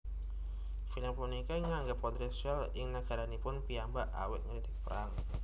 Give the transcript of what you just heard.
Film puniki kaanggep kontrovèrsial ing nagaranipun piyambak awit ngritik perang